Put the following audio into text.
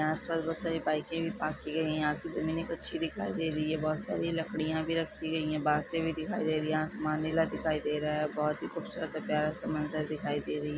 यहाँ पर बहुत सारी बाइकें भी पार्क की गयी है यहाँ की जमीने कच्ची दिखाई दे रही है बहुत सारी लकड़ियाँ भी रखी गयी है बांसे भी दिखाई दे रही है आसमान नीला दिखाई दे रहा है बहुत ही खूबसूरत और प्यारा सा मंजर दिखाई दे रही--